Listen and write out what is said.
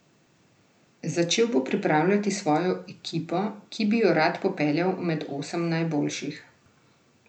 Začel bo pripravljati svojo ekipo, ki bi jo rad popeljal med osem najboljših.